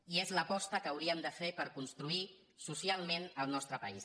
i és l’aposta que hauríem de fer per construir socialment el nostre país